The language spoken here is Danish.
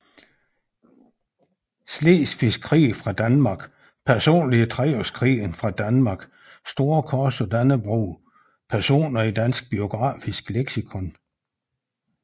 Slesvigske Krig fra Danmark Personer i Treårskrigen fra Danmark Storkors af Dannebrog Personer i Dansk Biografisk Leksikon